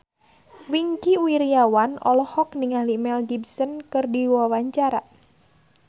Wingky Wiryawan olohok ningali Mel Gibson keur diwawancara